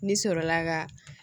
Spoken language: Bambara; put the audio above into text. Ne sɔrɔla ka